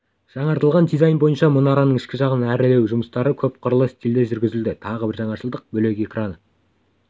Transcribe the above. жаңартылған дизайн бойынша мұнараның ішкі жағын әрлеу жұмыстары көпқырлы стильде жүргізілді тағы бір жаңашылдық бөлек экраны